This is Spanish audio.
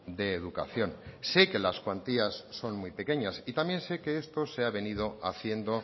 de educación sé que las cuantías son muy pequeñas y también sé que esto se ha venido haciendo